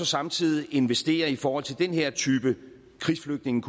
samtidig investerer i forhold til den her type krigsflygtninge